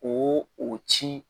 O o ci